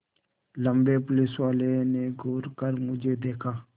लम्बे पुलिसवाले ने घूर कर मुझे देखा